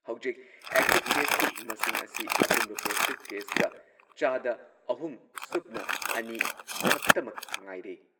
ꯍꯧꯖꯤꯛ ꯑꯦꯛꯇꯤꯚ ꯀꯦꯁꯀꯤ ꯃꯁꯤꯡ ꯑꯁꯤ ꯑꯄꯨꯟꯕ ꯄꯣꯖꯤꯇꯤꯚ ꯀꯦꯁꯀ ꯆꯥꯗ ꯑꯍꯨꯝ ꯁꯨꯞꯅ ꯑꯅꯤ ꯈꯛꯇꯃꯛ ꯉꯥꯏꯔꯦ꯫